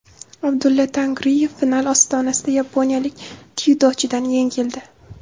Abdulla Tangriyev final ostonasida yaponiyalik dzyudochidan yengildi.